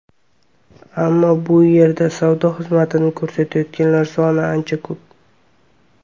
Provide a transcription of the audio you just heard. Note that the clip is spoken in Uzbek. Ammo bu yerdagi savdo xizmati ko‘rsatayotganlar soni ancha ko‘p.